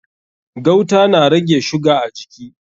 Gauta na rage shuga a jiki.